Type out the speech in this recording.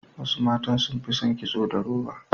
Wasu matan sun fi son kitso da roba.